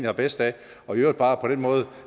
har bedst af og i øvrigt bare på den måde